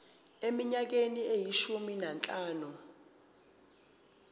eminyakeni eyishumi nanhlanu